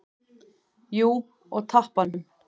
Að hún sitji hjá þér?